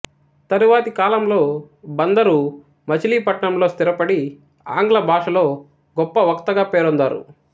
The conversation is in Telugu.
తరువాతి కాలంలో బందరు మచిలీ పట్నం లో స్థిరపడి ఆంగ్ల భాషలో గొప్ప వక్తగా పేరొందారు